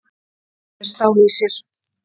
Hann er með stál í sér.